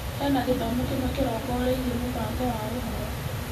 Hena gĩthomo kĩmwe kĩrongoreirie mũbango wa ũhoro.